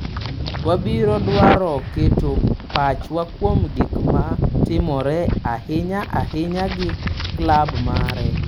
Wabiro dwaro keto pachwa kuom gik ma timore, ahinya ahinya gi klab mare.